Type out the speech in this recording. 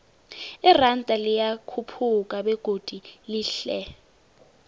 iranda liyakhuphuka begodu lehle